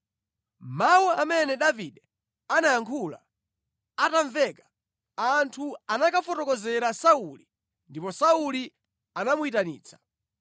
Mawu amene Davide anayankhula atamveka, anthu anakafotokozera Sauli ndipo Sauli anamuyitanitsa.